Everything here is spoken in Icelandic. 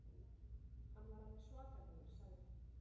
Hann var alveg svakalegur, sagði